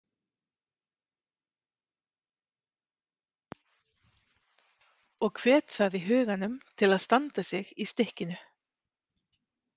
Og hvet það í huganum til að standa sig í stykkinu.